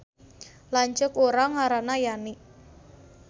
Lanceuk urang ngaranna Yani